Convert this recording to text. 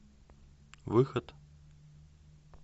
выход